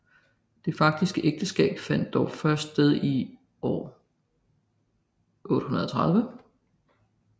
Det faktiske ægteskab fandt dog først sted i år 830